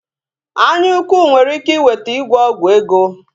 Anya ukwu nwere ike iweta ịgwọ ọgwụ ego